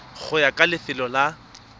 go ya ka lefelo la